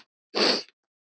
Það er falleg mynd.